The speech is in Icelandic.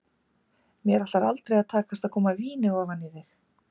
Mér ætlar aldrei að takast að koma víni ofan í þig.